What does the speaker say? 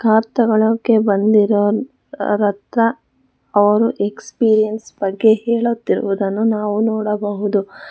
Car ತಗೋಳೊಕೆ ಬಂದಿರೋರ್ ಹತ್ರ ಅವ್ರು ಎಕ್ಸಪೀರಿಯನ್ಸ್ ಬಗ್ಗೆ ಹೇಳುತ್ತಿರುವುದನ್ನು ನಾವು ನೋಡಬಹುದು.